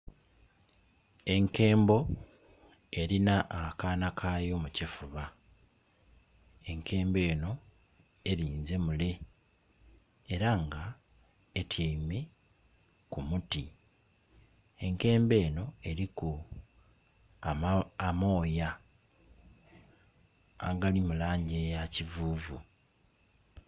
Enkembo erina akaana kayo mu kifuba enkembo enho erinze mule era nga etyeime ku muti, enkembo enho eliku amooya agali mu langi eya kivuuvu.